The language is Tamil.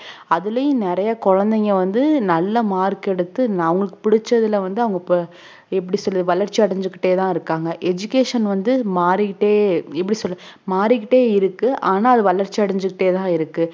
அதுலயும் நிறைய குழந்தைங்க வந்து நல்ல mark எடுத்து அவங்களுக்கு பிடிச்சதுல வந்து அவங்க ப~ எப்படி சொல்ல வளர்ச்சி அடைஞ்சிகிட்டே தான் இருக்காங்க education வந்து மாறி கிட்டே எப்படி சொல்றது மாறி கிட்டே இருக்கு ஆனா அது வளர்ச்சி அடைஞ்சிகிட்டே தான் இருக்கு